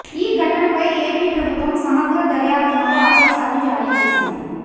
ఈ ఘటనపై ఏపీ ప్రభుత్వం సమగ్ర దర్యాప్తునకు ఆదేశాలు జారీ చేసింది